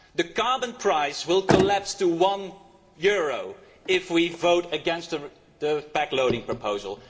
The carbon price will collapse to one euro if we vote against the backloading proposal.